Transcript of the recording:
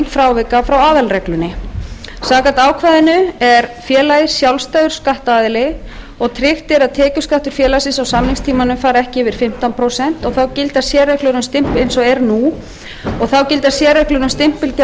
frávika frá aðalreglunni samkvæmt ákvæðinu er félagið sjálfstæður skattaðili tryggt er að tekjuskattur félagsins á samningstímanum fari ekki yfir fimmtán prósent eins og er nú og þá gilda sérreglur um stimpilgjöld